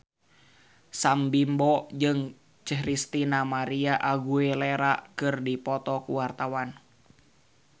Sam Bimbo jeung Christina María Aguilera keur dipoto ku wartawan